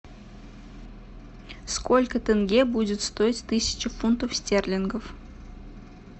сколько тенге будет стоить тысяча фунтов стерлингов